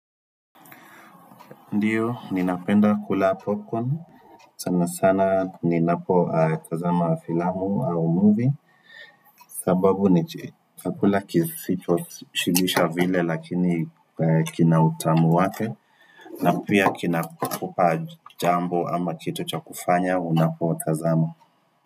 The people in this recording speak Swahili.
Ndiyo, ninapenda kula popcorn, sana sana ninapotazama filamu au movie sababu ni chakula kisichoshibisha vile lakini kina utamu wake na pia kinakupa jambo ama kitu cha kufanya unapotazama.